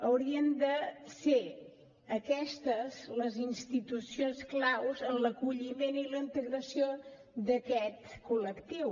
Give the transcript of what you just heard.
haurien de ser aquestes les institucions claus en l’acolliment i la integració d’aquest col·lectiu